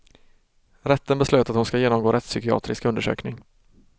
Rätten beslöt att hon ska genomgå rättspsykiatrisk undersökning.